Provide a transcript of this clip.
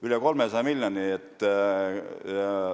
Üle 300 miljoni!